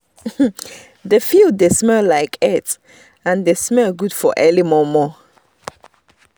the field dey smell like earth and the smell good for early momo